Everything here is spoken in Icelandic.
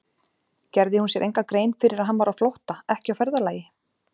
Gerði hún sér enga grein fyrir að hann var á flótta, ekki á ferðalagi?